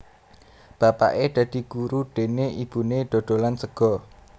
Bapaké dadi guru déné ibuné dodolan sega